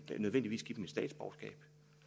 nødvendigvis give dem et statsborgerskab